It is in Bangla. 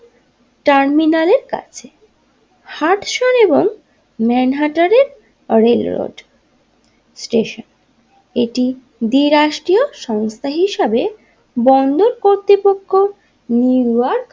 টার্মিনালের কাছে হার্টসান এবং মানহার্টেনের স্টেশন এটি দ্বিরাষ্ট্রীয় সংস্থা হিসাবে বন্দর কর্তৃপক্ষ নিউ ইয়র্ক।